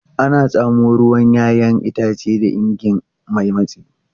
Ana tsamo ruwan 'ya'yan itace da ingin mai matsi.